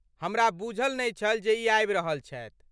हमरा बूझल नहि छल जे ई आबि रहल छथि।